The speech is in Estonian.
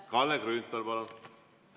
Kalle Grünthal, palun!